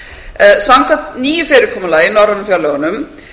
samstarfskerfinu samkvæmt nýju fyrirkomulagi í norrænu fjárlögunum